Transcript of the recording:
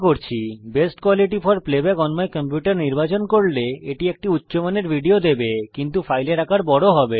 best quality for playback on my computer নির্বাচন করলে এটি একটি উচ্চমানের ভিডিও দেবে কিন্তু ফাইলের আকার ও বড় হবে